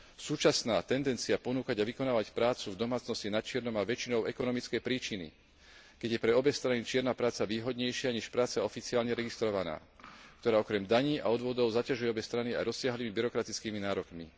Súčasná tendencia ponúkať a vykonávať prácu v domácnosti načierno má väčšinou ekonomické príčiny, keď je pre obe strany čierna práca výhodnejšia než práca oficiálne registrovaná, ktorá okrem daní a odvodov zaťažuje obe strany aj rozsiahlymi byrokratickými nárokmi.